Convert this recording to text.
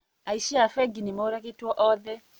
Aici a bengi nĩmoragĩtwo othe